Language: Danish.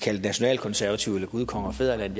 kaldt nationalkonservativ eller gud konge og fædrelands